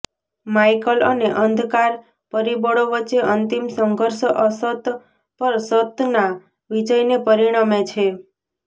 Michael અને અંધકાર પરિબળો વચ્ચે અંતિમ સંઘર્ષ અસત પર સતના વિજયને પરિણમે છે